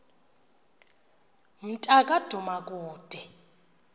mnta ka dumakude